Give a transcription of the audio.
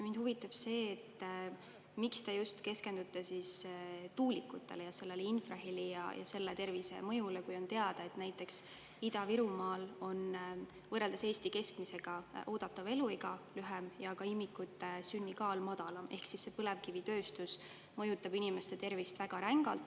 Mind huvitab, miks te keskendute just tuulikutele, infrahelile ja selle tervisemõjule, kui on teada, et näiteks Ida-Virumaal on oodatav eluiga võrreldes Eesti keskmisega lühem ja ka imikute sünnikaal madalam, ehk põlevkivitööstus mõjutab inimeste tervist väga rängalt.